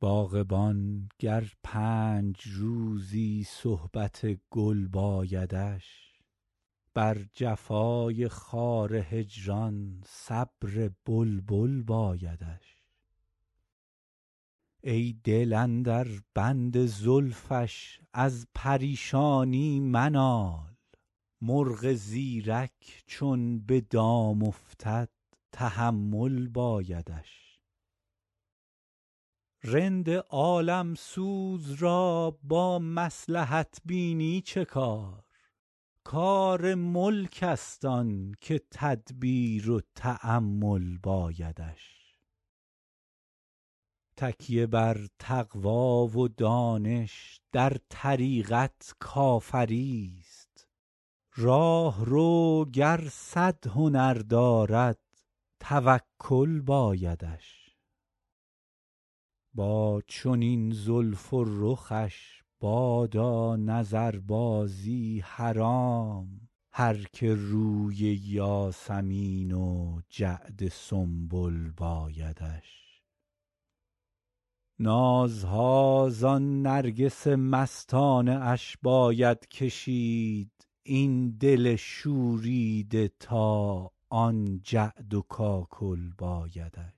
باغبان گر پنج روزی صحبت گل بایدش بر جفای خار هجران صبر بلبل بایدش ای دل اندر بند زلفش از پریشانی منال مرغ زیرک چون به دام افتد تحمل بایدش رند عالم سوز را با مصلحت بینی چه کار کار ملک است آن که تدبیر و تأمل بایدش تکیه بر تقوی و دانش در طریقت کافری ست راهرو گر صد هنر دارد توکل بایدش با چنین زلف و رخش بادا نظربازی حرام هر که روی یاسمین و جعد سنبل بایدش نازها زان نرگس مستانه اش باید کشید این دل شوریده تا آن جعد و کاکل بایدش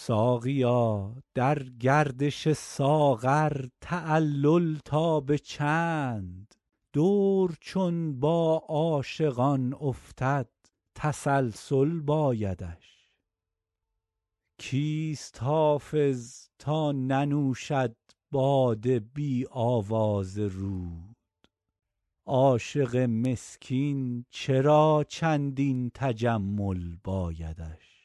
ساقیا در گردش ساغر تعلل تا به چند دور چون با عاشقان افتد تسلسل بایدش کیست حافظ تا ننوشد باده بی آواز رود عاشق مسکین چرا چندین تجمل بایدش